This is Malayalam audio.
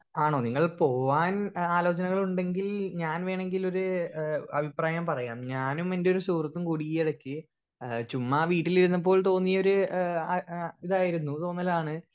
സ്പീക്കർ 1 ആണോ നിങ്ങൾ പോവാൻ എഹ് ആലോജനകളുണ്ടെങ്കിൽ ഞാൻ വെണെങ്കിൽ ഒര് ഏഹ് അഭിപ്രായം പറയാം ഞാനും എന്റെ ഒരു സുഹൃത്തും കൂടി ഈ ഇടക്ക് എഹ് ചുമ്മാ വീട്ടിലിരുന്നപ്പോൾ തോന്നിയൊരു ഏഹ് ആ എഹ് ഇതായിരുന്നു റൂമിലാണ്